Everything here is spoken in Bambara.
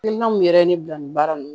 Hakilina min yɛrɛ ye ne bila nin baara ninnu